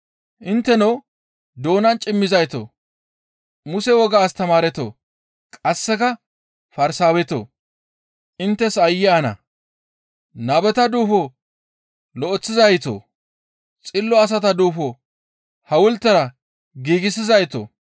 «Intteno doonan cimmizaytoo! Muse wogaa astamaaretoo, qasseka Farsaawetoo! Inttes aayye ana! Nabeta duufo lo7eththizaytoo! Xillo asata duufo hawultera giigsizaytoo!